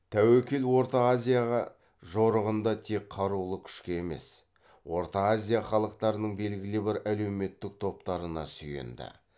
тәуекел орта азияға жорығында тек қарулы күшке емес орта азия халықтарының белгілі бір әлеуметтік топтарына сүйенді